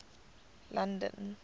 london